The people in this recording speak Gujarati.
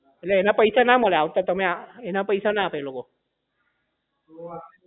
એટલે એના પૈસા ના મળે આવતા તમે એના પૈસા ના આપે એના તમને એ લોકો